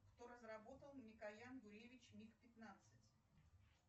кто разработал микоян гуревич миг пятнадцать